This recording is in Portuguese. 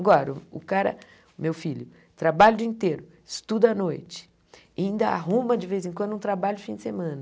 Agora, o cara, meu filho, trabalha o dia inteiro, estuda à noite, ainda arruma de vez em quando um trabalho de fim de semana.